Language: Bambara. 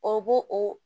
O bo o